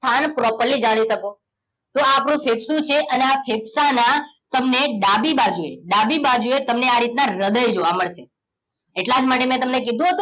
સ્થાન properly જાણી શકો તો આપણું ફેફસું છે અને આ ફેફસાના તમને ડાભી બાજુએ ડાબી બાજુએ તમને આ રીતના હૃદય જોવા મળશે એટલા જ માટે મેં તમને કીધુ હતું